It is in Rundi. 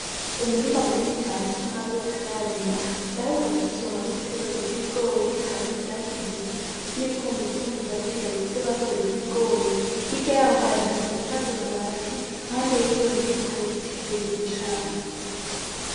Umurima munini cane usa nabi batararima baheruka gutisomamwo igitegwa bitibigori harimwo ivyatsi gusa n'ibikumbibkumbi vyasigaye ku vyo bakwiweko ibigori iga yaho hari inzu isakaje mabadi mpande yiyo nzu hari biti birebire cane.